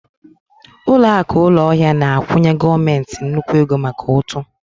Ụlọakụ ụlọahịa na-akwụnye gọọmentị nnukwu ego maka ụtụ